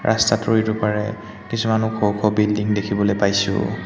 ৰাস্তাটোৰ ইটোপাৰে কিছুমান ওখ-ওখ বিল্ডিং দেখিবলৈ পাইছোঁ।